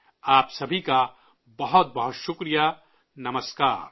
آپ سبھی کا بہت بہت شکریہ! نمسکار!